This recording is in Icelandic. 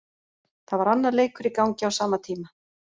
Það var annar leikur í gangi á sama tíma.